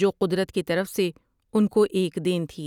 جو قدرت کی طرف سے انکو ایک دین تھی ۔